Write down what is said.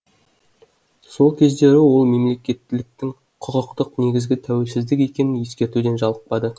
сол кездері ол мемлекеттіліктің құқықтық негізі тәуелсіздік екенін ескертуден жалықпады